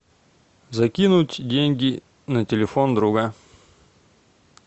закинуть деньги на телефон друга